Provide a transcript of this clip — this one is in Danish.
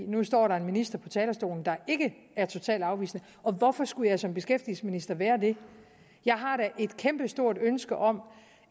nu står der en minister på talerstolen der ikke er totalt afvisende og hvorfor skulle jeg som beskæftigelsesminister være det jeg har da et kæmpestort ønske om